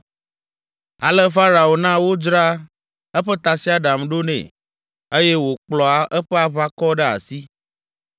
Ale Farao na wodzra eƒe tasiaɖam ɖo nɛ, eye wòkplɔ eƒe aʋakɔ ɖe asi.